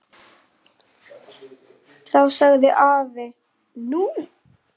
Þá sagði afi: Nú?